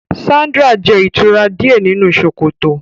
Sandra jẹ itura diẹ ninu sokoto.